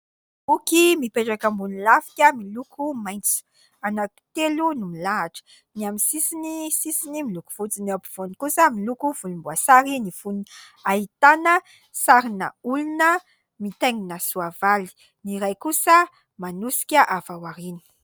Boky mipetraka ambony lafika miloko maitso, anankitelo no milahatra : ny amin'ny sisiny, ny sisiny miloko fotsy ; ny ampovoany kosa miloko volomboasary ny fonony, ahitana sarin'olona mitaingina soavaly, ny iray kosa manosika avy ao aoriana.